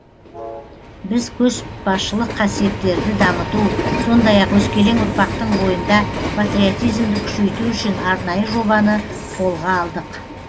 біз көшбасшылық қасиеттерді дамыту сондай ақ өскелең ұрпақтың бойында патриотизмді күшейту үшін арнайы жобаны қолға алдық